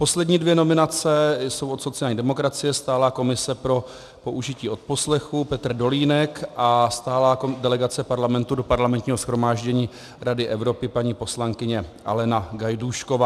Poslední dvě nominace jsou od sociální demokracie, Stálá komise pro použití odposlechů Petr Dolínek a Stálá delegace Parlamentu do Parlamentního shromáždění Rady Evropy paní poslankyně Alena Gajdůšková.